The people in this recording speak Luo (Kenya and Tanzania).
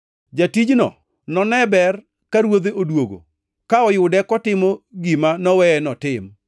Jatijno none ber ka ruodhe odwogo to noyude kotimo gima noweye notim.